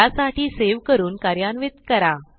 त्यासाठी सेव्ह करून कार्यान्वित करा